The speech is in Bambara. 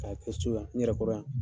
K'a kɛ so yan n yɛrɛ kɔrɔ yan.